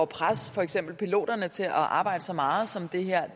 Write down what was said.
presse for eksempel piloterne til at arbejde så meget som det her